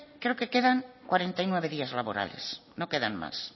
creo que quedan cuarenta y nueve días laborales no quedan más